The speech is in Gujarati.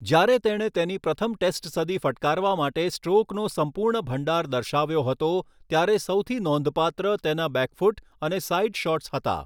જ્યારે તેણે તેની પ્રથમ ટેસ્ટ સદી ફટકારવા માટે સ્ટ્રોકનો સંપૂર્ણ ભંડાર દર્શાવ્યો હતો, ત્યારે સૌથી નોંધપાત્ર તેના બેકફૂટ અને સાઇડ શોટ્સ હતા.